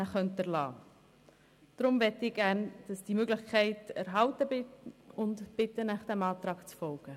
Ich möchte, dass diese Möglichkeit erhalten bleibt und bitte Sie deshalb, diesem Antrag zu folgen.